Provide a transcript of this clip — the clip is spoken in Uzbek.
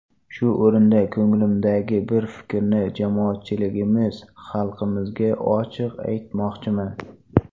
Shu o‘rinda ko‘nglimdagi bir fikrni jamoatchiligimiz, xalqimizga ochiq aytmoqchiman.